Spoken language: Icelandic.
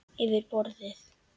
Yfir borðið.